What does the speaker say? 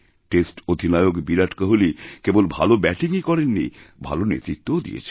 test অধিনায়ক বিরাট কোহলি কেবল ভালো ব্যাটিংই করেননি ভালো নেতৃত্বও দিয়েছেন